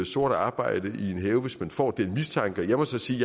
sort arbejde i en have hvis man får den mistanke jeg må så sige